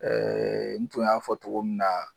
n tun y'a fɔ togo min na